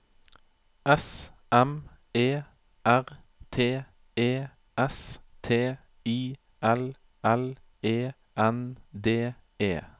S M E R T E S T I L L E N D E